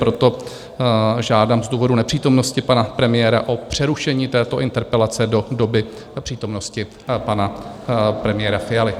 Proto žádám z důvodu nepřítomnosti pana premiéra o přerušení této interpelace do doby přítomnosti pana premiéra Fialy.